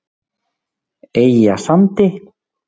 Eyjasandi